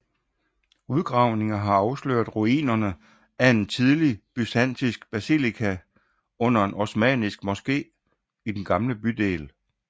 Udgravninger har afsløret ruinerne af en tidlig byzantinsk basilika under en osmannisk moske i den gamle bydel